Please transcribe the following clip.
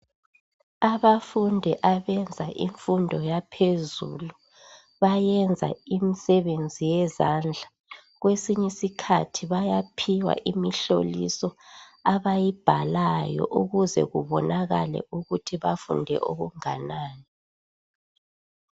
Abafundi abenza imfundo yaphezelu bayenza imisebenzi yezandla kwesinye isikhathi bayabe bephiwa imihloliso abayiibhalayo ukuze kubonakale ukuthi bafunde okunganani.